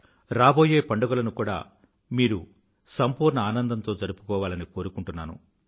రాబోయే పండుగలను కూడా మీరు సంపూర్ణ ఆనందంతో జరుపుకోవాలని కోరుకుంటున్నాను